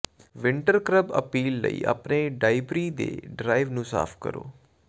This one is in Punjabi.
ਵਿੰਟਰ ਕਰਬ ਅਪੀਲ ਲਈ ਆਪਣੇ ਡਾਈਬ੍ਰੀ ਦੇ ਡਰਾਈਵ ਨੂੰ ਸਾਫ਼ ਕਰੋ